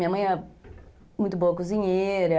Minha mãe é muito boa cozinheira.